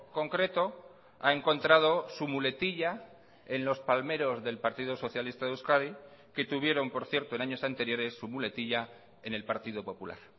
concreto ha encontrado su muletilla en los palmeros del partido socialista de euskadi que tuvieron por cierto en años anteriores su muletilla en el partido popular